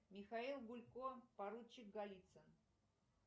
михаил гулько поручик голицын